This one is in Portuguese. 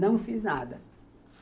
Não fiz nada.